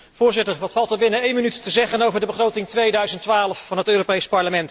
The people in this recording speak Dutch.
Wat valt er binnen één minuut te zeggen over de begroting 2012 van het Europees Parlement?